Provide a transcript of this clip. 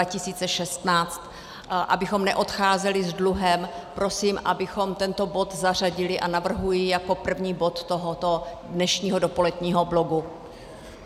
Abychom neodcházeli s dluhem, prosím, abychom tento bod zařadili, a navrhuji jako první bod tohoto dnešního dopoledního bloku.